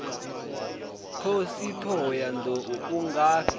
khosi thohoyanḓ ou u ngafhi